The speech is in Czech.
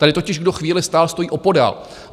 Tady totiž kdo chvíli stál, stojí opodál.